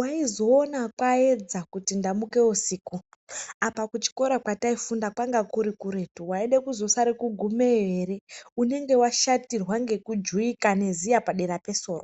eaizoona kuti kwaedza kuti wamuka usiku, apa kuchikora kwandaifunda kwainga kuretu ,waizosara kugumayo here unenge washatirwa ngekujuwika neziya padera pesoro.